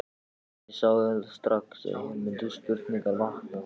En ég sá auðvitað strax, að hér mundu spurningar vakna.